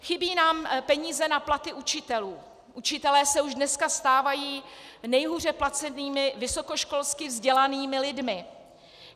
Chybí nám peníze na platy učitelů, učitelé se už dneska stávají nejhůře placenými vysokoškolsky vzdělanými lidmi.